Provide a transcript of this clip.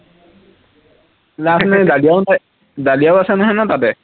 নাই ডালিয়াও নাই, ডালিয়াও আছে নহয় ন তাতে